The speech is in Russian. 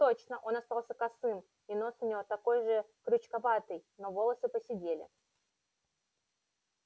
точно он остался косым и нос у него такой же крючковатый но волосы поседели